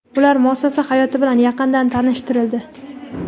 ular muassasa hayoti bilan yaqindan tanishtirildi.